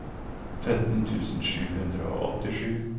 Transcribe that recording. tretten tusen sju hundre og åttisju